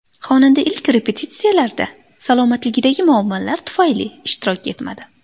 Xonanda ilk repetitsiyalarda salomatligidagi muammolar tufayli ishtirok etmadi.